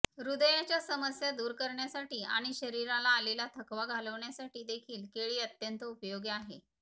हृदयाच्या समस्या दूर करण्यासाठी आणि शरीराला आलेला थकवाघालवण्यासाठी देखील केळी अत्यंत उपयोगी आहे